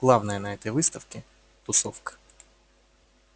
главное на этой выставке тусовка